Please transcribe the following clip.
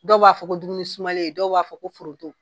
Dɔw b'a fɔ dumuni sumalen dɔw b'a fɔ ko foroto.